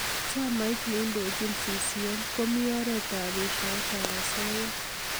Chamait neindojin CCM komi oret ab eshoet ab asoya.